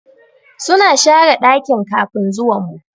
Suna share dakin kafin zuwan mu.